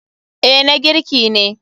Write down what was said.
Eh na girki ne.